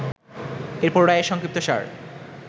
এরপর রায়ের সংক্ষিপ্তসার